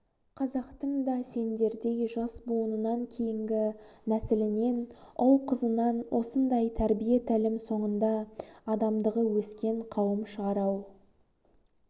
қазақтың да сендердей жас буынынан кейінгі нәсілінен ұл-қызынан осындай тәрбие-тәлім соңында адамдығы өскен қауым шығар-ау